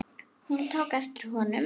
Hún tók eftir honum!